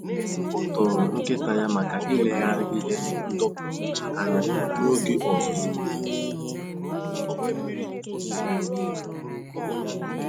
O toro nkịta ya maka ileghara ihe ndọpụ uche anya n'oge ọzụzụ n'èzí